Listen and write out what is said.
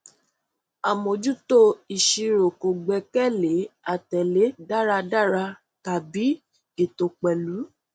àmójútó ìṣirò kò gbẹkẹ lé àtẹlẹ dáradára tàbí ètò pẹlú